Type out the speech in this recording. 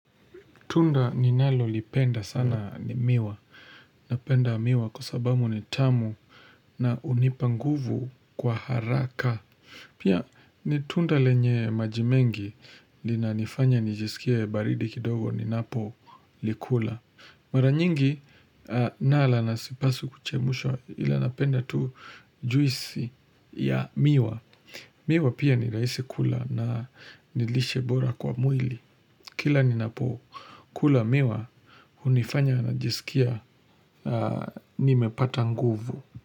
Tunda ninalolipenda sana ni miwa. Napenda miwa kwa sababu ni tamu na hunipa nguvu kwa haraka. Pia ni tunda lenye maji mengi. Linanifanya nijisikia baridi kidogo ninapolikula. Mara nyingi nala na sipaswi kuchemshwa, ila napenda tu juisi ya miwa. Miwa pia ni rahisi kula na ni lishe bora kwa mwili. Kila ninapo kula miwa hunifanya najisikia nimepata nguvu.